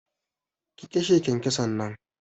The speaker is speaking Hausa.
Ki kashe kyankyason nan!